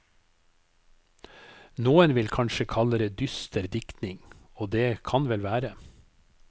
Noen vil kanskje kalle det dyster diktning, og det kan vel være.